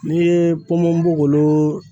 N'i ye ponbonbogolo